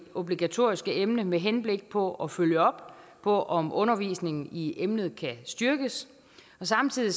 obligatoriske emne med henblik på at følge op på om undervisningen i emnet kan styrkes samtidig